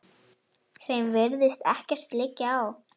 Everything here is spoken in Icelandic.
Þeim virðist ekkert liggja á.